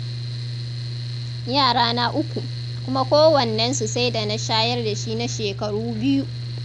Yarana uku, kuma kowannennsu sai da na shayar da shi na shekaru biyu.